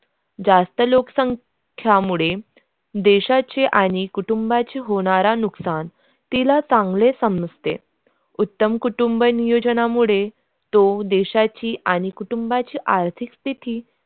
जास्त लोक संख्या मुळे देशाची आणि कुटुंबाचे होणारा नुकसान तिला त्यामुळे समजते उत्तम कुटुंब नियोजनामुळे तो देशाची आणि कुटुंबाचे आर्थिक स्थिती.